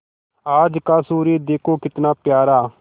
आज का सूर्य देखो कितना प्यारा